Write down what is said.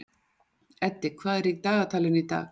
Eddi, hvað er í dagatalinu í dag?